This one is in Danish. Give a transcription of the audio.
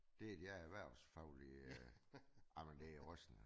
Det er det erhversfaglige ej men det er rystende